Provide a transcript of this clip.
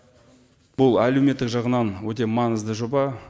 бұл әлеуметтік жағынан өте маңызды жоба